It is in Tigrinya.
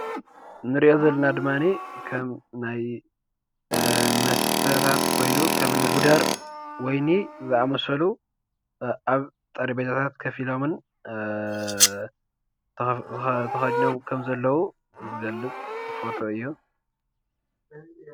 እንሪኦ ዘለና ድማኒ ከም ናይ መስተታት ኮይኑ ከምኒ ጉደር ወይኒ ዝኣመሰሉ ኣብ ጠረጴዛታት ኮፍ ኢሎምን ተከዲኖም ከምዘለዉ ዝገልፅ ፎቶ እዩ ።